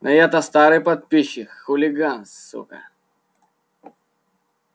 а я-то старый подписчик хулиган сука